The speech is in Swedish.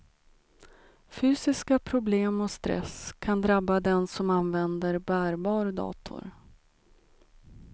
Fysiska problem och stress kan drabba den som använder bärbar dator.